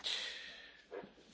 Meine Damen und Herren!